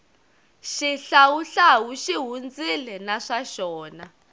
xihlawuhlawu xi hundzile na swa xona